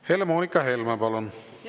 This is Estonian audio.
Helle-Moonika Helme, palun!